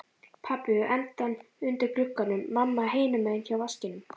Pabbi við endann undir glugganum, mamma hinum megin hjá vaskinum.